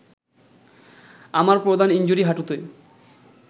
আমার প্রধান ইনজুরি হাঁটুতে